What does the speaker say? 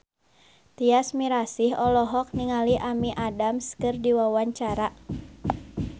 Tyas Mirasih olohok ningali Amy Adams keur diwawancara